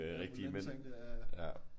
Det der mandeting det der ja ja